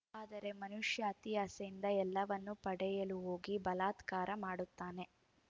ಆದರೆ ಮನುಷ್ಯ ಅತಿಯಾಸೆಯಿಂದ ಎಲ್ಲವನ್ನೂ ಪಡೆಯಲು ಹೋಗಿ ಬಲಾತ್ಕಾರ ಮಾಡುತ್ತಾನೆ